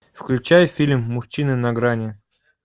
включай фильм мужчины на грани